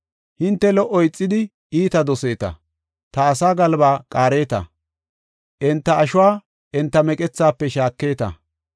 Hinte lo77o ixidi, iita doseeta. Ta asaa galbaa qaareta; enta ashuwa enta meqethafe shaaketa.